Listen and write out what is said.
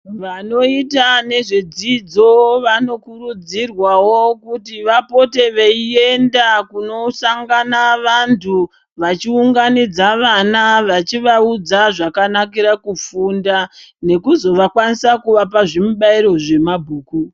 Vanoita nezvedzidzo vanokurudzirwawo kuti vapote veienda kunosangana vantu ,vachiunganidza vana vachivaudza zvakanakira kufunda nekuzovakwanisa kuvapa zvimubairo zvemabhuku.